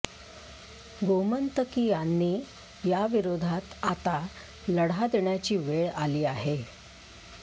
गोमंतकीयांनी या विरोधात आता लढा देण्याची वेळ आली आहे